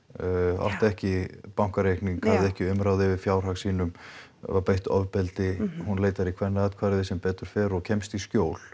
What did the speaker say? átti ekki bankareikning hafði ekki umráð yfir fjármunum sínum var beitt ofbeldi hún leitar í Kvennathverfið sem betur fer og kemst í skjól